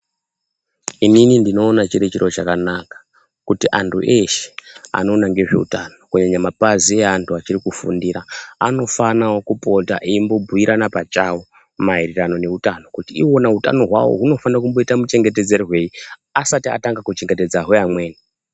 Inini ndinoona chiri chiro chakanaka kuti antu eshe anoona ngezveutano, kunyanya mapazi eanhu achiri kufundira, anofanawo kupota eimbobhuirana pachawo maererano neutano. Kuti iwona utano hwawo hunofanira kumboita muchengetedzerwei, asati atanga kuchengetedza hweamweni.